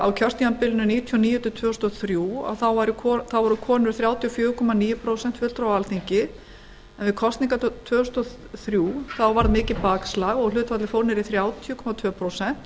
hundruð níutíu og níu til tvö þúsund og þrjú voru konur þrjátíu og fjögur komma níu prósent fulltrúa á alþingi en við kosningarnar tvö þúsund og þrjú varð mikið bakslag og hlutfallið fór niður í þrjátíu komma tvö prósent